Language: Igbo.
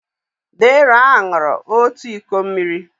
Deraa ṅụrụ òtù iko mmiri.